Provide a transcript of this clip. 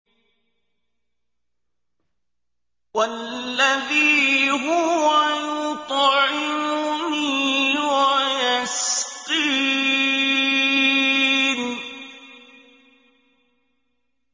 وَالَّذِي هُوَ يُطْعِمُنِي وَيَسْقِينِ